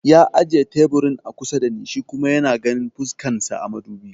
Ya ajiye teburin a kusa da ni shi kuma yana ganin fuskan sa a madubi